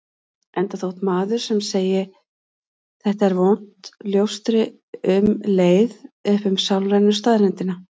Enda þótt maður sem segi: Þetta er vont ljóstri um leið upp um sálrænu staðreyndina.